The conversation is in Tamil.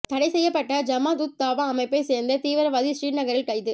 தடை செய்யப்பட்ட ஜமாத் உத் தாவா அமைப்பைச் சேர்ந்த தீவிவராதி ஸ்ரீநகரில் கைது